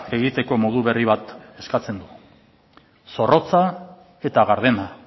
egiteko modu berri bat eskatzen du zorrotza eta gardena